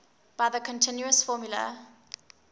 by the continuous formula